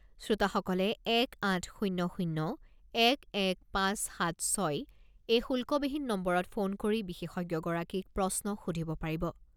শ্রোতাসকলে এক আঠ শূণ্য শূণ্য এক এক পাঁচ সাত ছয় এই শুল্কবিহীন নম্বৰত ফোন কৰি বিশেষজ্ঞগৰাকীক প্ৰশ্ন সুধিব পাৰিব।